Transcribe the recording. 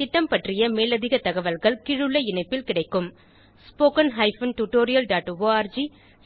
இந்த திட்டம் பற்றிய மேலதிக தகவல்கள் கீழுள்ள இணைப்பில் கிடைக்கும் spoken hyphen tutorial dot arc